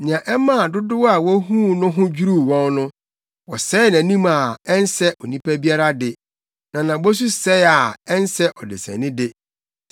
Nea ɛmaa dodow a wohuu no ho dwiriw wɔn no, wɔsɛee nʼanim a ansɛ onipa biara de na nʼabɔsu sɛe a ɛnsɛ ɔdesani de,